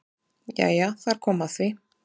Jæja þar kom að því!